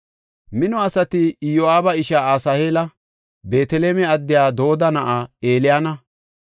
Mino asati Iyo7aaba ishaa Asaheela, Beeteleme addiya Dooda na7aa Eliyaana,